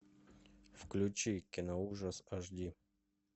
включи киноужас эйдж ди